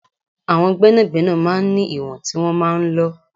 Àwọn gbẹ́nàgbẹ́nà máa ń ní ìwọ̀n tí wọn máa ń lọ.